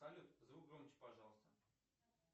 салют звук громче пожалуйста